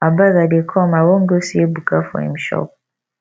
abeg i dey come i wan go see ebuka for im shop